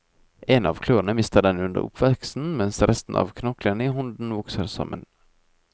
En av klørne mister den under oppveksten mens resten av knoklene i hånden vokser sammen.